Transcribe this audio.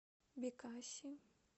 бекаси